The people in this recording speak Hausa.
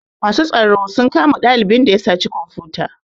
Masu tsaro sun kama ɗalibin da ya saci komfuta